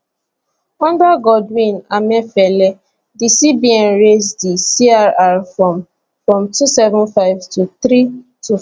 under godwin emefiele di cbn raise di crr from from two seven five to three two five